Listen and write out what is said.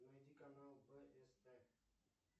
найди канал бст